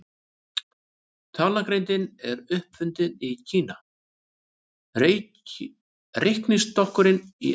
Talnagrindin er upp fundin í Kína, reiknistokkurinn í Evrópu.